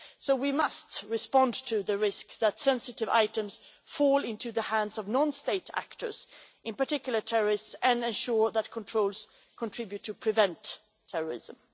So we must respond to the risk of sensitive items falling into the hands of non state actors, and in particular terrorists, and ensure that controls contribute to preventing terrorism.